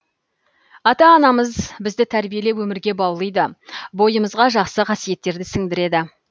ата анамыз бізді тәрбиелеп өмірге баулыйды бойымызға жақсы қасиеттерді сіңдіреді